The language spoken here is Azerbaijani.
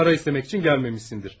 Ümid edirəm pul istəmək üçün gəlməmisən.